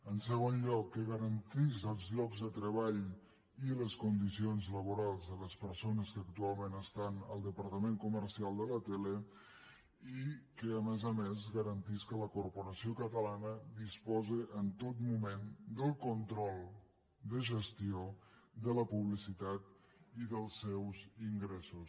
en segon lloc que garantís els llocs de treball i les condicions laborals de les persones que actualment estan en el departament comercial de la tele i que a més a més es garantís que la corporació catalana disposi en tot moment del control de gestió de la publicitat i dels seus ingressos